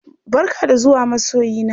Barka da zuwa masoyina!